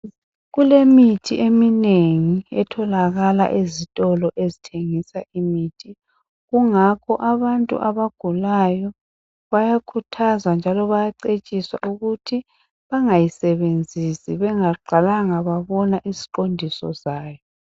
Kulemithi eminengi etholakala ezitolo ezithengisa imithi kungakho abantu abagulayo bayakhuthazwa njalo bayacetshiswa ukuthi bangayisebenzisi bengaqalanga babona iziqondiso zayo.